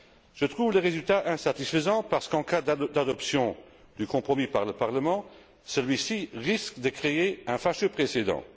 Je trouve les résultats insatisfaisants parce qu'en cas d'adoption du compromis par le Parlement, celui ci risque de créer un fâcheux précédent.